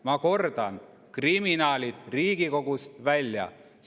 Ma kordan: kriminaalid Riigikogust välja!